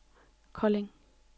Kolding